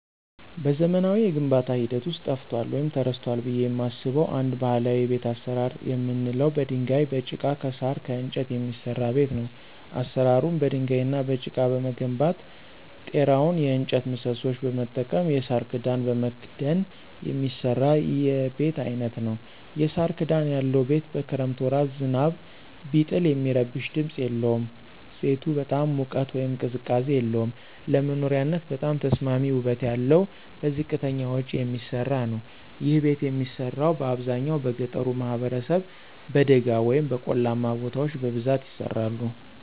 በዘመናዊ የግንባታ ሂደት ውስጥ ጠፍቷል ወይም ተረስቷል ብየ የማስበው አንድ ባህላዊ የቤት አሰራር የምንለው በድንጋይ፣ በጭቃ፣ ከሳር፣ ከእንጨት የሚሰራ ቤት ነው። አሰራሩም በድንጋይ እና በጭቃ በመገንባት ጤራውን የእጨት ምሰሶዎች በመጠቀም የሳር ክዳን በመክደን የሚሰራ የቤት አይነት ነዉ። የሳር ክዳን ያለው ቤት በክረምት ወራት ዝናብ ቢጥል የሚረብሽ ድምፅ የለውም። ቤቱ በጣም ሙቀት ወይም ቅዝቃዜ የለውም። ለመኖሪያነት በጣም ተስማሚ ውበት ያለው በዝቅተኛ ወጭ የሚሰራ ነዉ። ይህ ቤት የሚሰራው በአብዛኛው በገጠሩ ማህበረሰብ በደጋ ወይም በቆላማ ቦታዎች በብዛት ይሰራሉ።